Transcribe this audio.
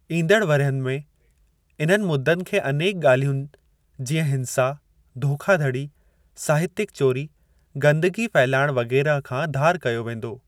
ईंदड़ वरह्यिनि में इन्हनि मुद्दनि खे अनेक ॻाल्हियुनि जीअं हिंसा, धोखाधड़ी, साहित्यक चोरी, गंदगी फहिलाइणु वग़ैरह खां धार कयो वेंदो।